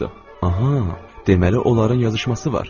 Aha, deməli onların yazışması var.